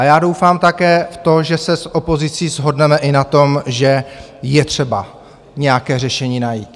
A já doufám také v to, že se s opozicí shodneme i na tom, že je třeba nějaké řešení najít.